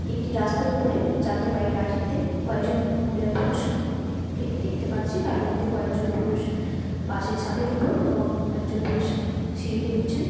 একটি রাস্তার উপরে যাত্রীবাহী গাড়িতে কয়জন মহিলা পুরুষ কে দেখতে পাচ্ছি তার মধ্যে কয়েকজন পুরুষ বাস এর ছাদের উপর এবং একজন পুরুষ সিঁড়ি দিয়ে উঠছেন।